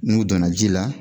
N'u donna ji la